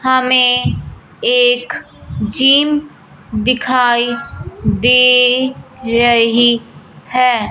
हमें एक जिम दिखाई दे रही है।